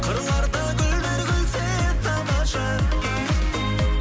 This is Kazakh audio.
қырларда гүлдер күлсе тамаша